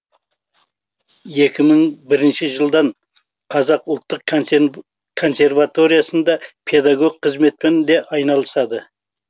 екі мың бірінші жылдан қазақ ұлттық консерваториясында педагог қызметпен де айналысады